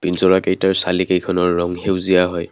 কেইটাৰ চালি কেইখনৰ ৰং সেউজীয়া হয়।